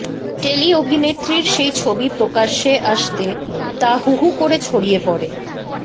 tele অভিনেত্রীর সেই ছবি প্রকাশ্য়ে আসতেই তা হু হু করে ছড়িয়ে পড়ে